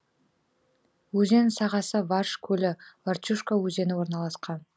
өзен сағасы варш көлі варчушка өзені орналасқан